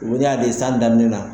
san daminɛn na.